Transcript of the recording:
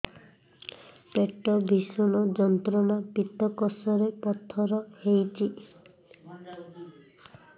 ପେଟ ଭୀଷଣ ଯନ୍ତ୍ରଣା ପିତକୋଷ ରେ ପଥର ହେଇଚି